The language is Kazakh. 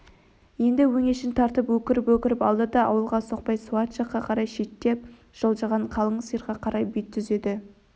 енді өңешін тартып өкіріп-өкіріп алды да ауылға соқпай суат жаққа қарай шеттеп жылжыған қалың сиырға қарай бет түзеді